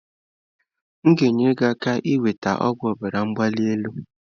M ga-enyere gị aka inweta ọgwụ ọbara mgbali elu.